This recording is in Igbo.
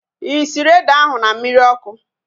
Ị sịrị ede ahu na mmiri ọkụ?